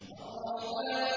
الرَّحْمَٰنُ